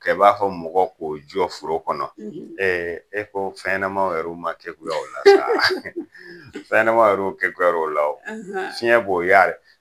Kɛ i b'a fɔ mɔgɔ k'o jɔ foro kɔnɔ e ko fɛn ɲɛnɛmaw yɛruw ma kekuya o la saa ! Fɛn ɲɛnɛmaw yɛruw kekuyar'o la o, fiyɛ b'o yari